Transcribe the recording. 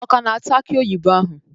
Ọ ka na-ata aki oyibo ahụ.